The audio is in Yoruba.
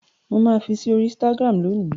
Mà á fi sí orí Instagram lónì.